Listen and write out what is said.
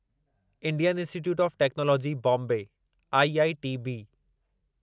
Indian Institute of Technology Bombay IITB